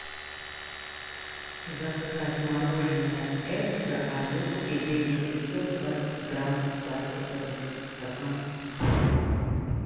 заказать мороженое экзо арбуз и дыня пятьсот двадцать грамм пластиковый стакан